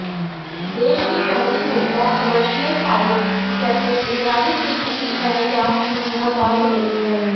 देश की पहली महिला commercial pilot captain Indrani Singh किसी पहचान की मोहताज नहीं है